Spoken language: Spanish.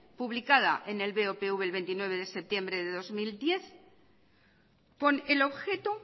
publicada en el bopv el veintinueve de septiembre del dos mil diez con el objeto